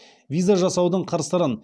виза жасаудың қыр сырын